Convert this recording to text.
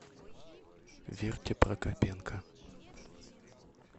верке прокопенко